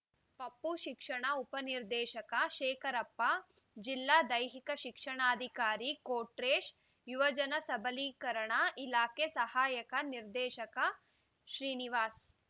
ಪಪೂ ಶಿಕ್ಷಣ ಉಪ ನಿರ್ದೇಶಕ ಶೇಖರಪ್ಪ ಜಿಲ್ಲಾ ದೈಹಿಕ ಶಿಕ್ಷಣಾಧಿಕಾರಿ ಕೊಟ್ರೇಶ ಯುವಜನ ಸಬಲೀಕರಣ ಇಲಾಖೆ ಸಹಾಯಕ ನಿರ್ದೇಶಕ ಶ್ರೀನಿವಾಸ್